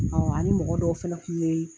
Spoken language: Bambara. Ɔ a ni mɔgɔ dɔw fana tun ye